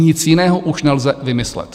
Nic jiného už nelze vymyslet.